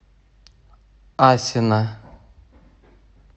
асино